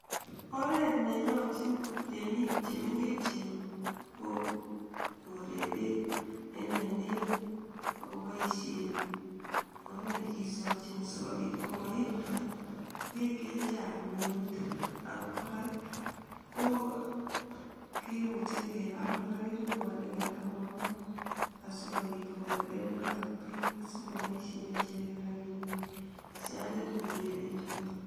Oret nenyoljin meng'ik chemengechen Ko korei bek en ainet akoboishen oret nekisochin sikobit komoib bek chechang ak KO kora komuch kebal keringonik en kimostab ainet